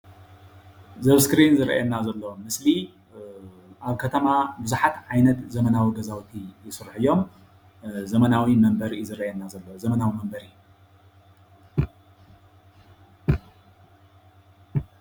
እዚ ኣብ እስክሪን ዝርአየና ዘሎ ምስሊ ኣብ ከተማ ቡዙሓት ዓይነት ዘመናዊ ገዛውቲ ይስርሑ እዮም ዘመናዊ መንበሪ እዩ ዝረአየና ዘሎ ዘመናዊ መንበሪ